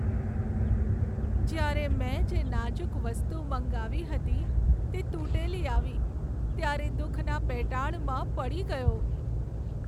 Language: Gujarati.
જ્યારે મેં જે નાજુક વસ્તુ મંગાવી હતી તે તૂટેલી આવી ત્યારે દુખના પેટાળમાં પડી ગયો.